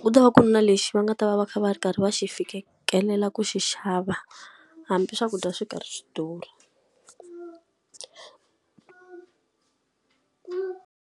ku ta va ku na lexi va nga ta va va kha va ri karhi va xi fikelela ku xi xava, hambi swakudya swi karhi swi durha.